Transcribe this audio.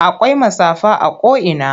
Akwai matsafa a ko'ina.